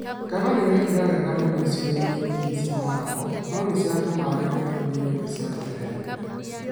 Ngano nĩ yekire wega icigo-inĩ nyingĩ cia Narok no nĩ cianyamaragio mũno nĩ nyoni cia Quelea Quelea.